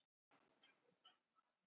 Það hef ég gert nú.